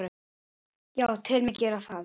Já, tel mig gera það.